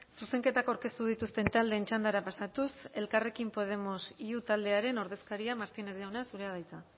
zuzenketak aurkeztu dituzten taldeen txandara pasatuz elkarrekin podemos iu taldearen ordezkaria martínez jauna zurea da hitza